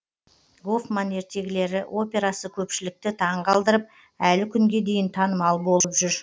гофман ертегілері операсы көпшілікті таң қалдырып әлі күнге дейін танымал болып жүр